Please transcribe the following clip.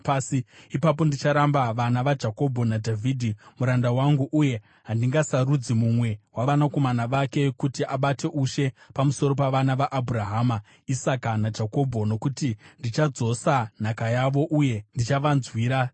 ipapo ndicharamba vana vaJakobho naDhavhidhi muranda wangu uye handingasarudzi mumwe wavanakomana vake kuti abate ushe pamusoro pavana vaAbhurahama, Isaka naJakobho. Nokuti ndichadzosa nhaka yavo uye ndichavanzwira tsitsi.’ ”